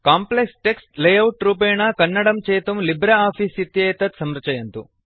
complex text layout रूपेण कन्नडं चेतुं लिब्रे आफीस् इत्येतेत् संरचयन्तु